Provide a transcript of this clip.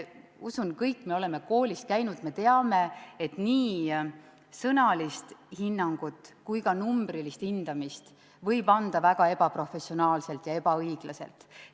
Usun, et kõik me oleme koolis käinud, me teame, et nii sõnalist hinnangut kui ka numbrilist hindamist võib anda väga ebaprofessionaalselt ja ebaõiglaselt.